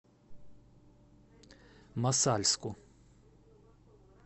мосальску